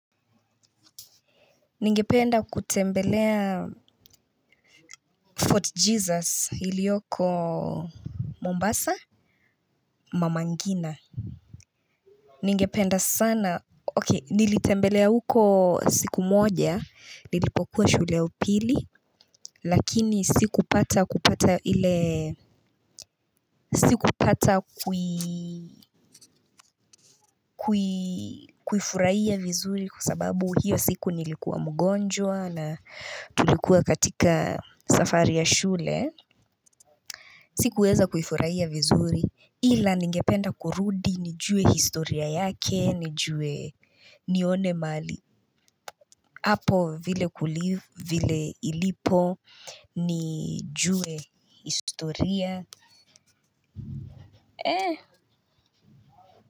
Ningependa kutembelea Fort Jesus ilioko Mombasa mama ngina ningependa sana okay nilitembelea huko siku moja nilipokuwa shule ya upili lakini sikupatq kupata ile sikupata kui kuifufurahia vizuri kwa sababu hiyo siku nilikuwa mgonjwa na tulikuwa katika safari ya shule. Sikuweza kuifurahia vizuri, ila ningependa kurudi, nijue historia yake, nijue nione mahali, hapo vile kulivu, vile ilipo, nijue historia.